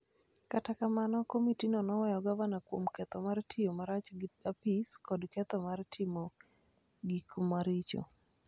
Kata kamano, komitino noweyo gavanano kuom ketho mar tiyo marach gi apis kod ketho mar timo gik maricho,